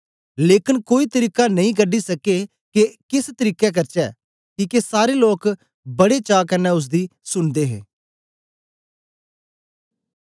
लेकन कोई तरीका नेई कढी सके के ए केस तरीके करचै किके सारे लोक बड़ी चा कन्ने ओसदी सुन्दे हे